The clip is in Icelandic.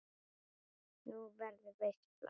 Nú, verður veisla?